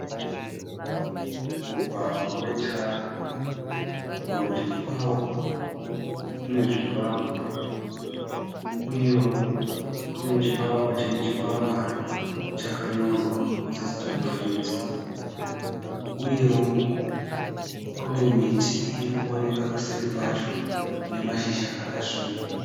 Mugwagwa wetara. Kurudyi kwavo kune zvivakwa, uyewo kune chivakwa chine chikwangwari chakanyorwa kuti stock feeds. Uyewo kune miti irikuonekwa kuseri kwacho ine mazhizha akasvibira.